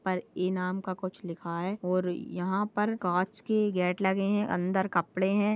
पर इनाम का कुछ लिखा है और यहाँ पर कांच के गेट लगे है अंदर कपड़े है।